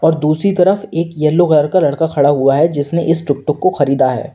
दूसरी तरफ एक येलो कलर का लड़का खड़ा हुआ है जिसने इस टुकटुक को खरीदा है।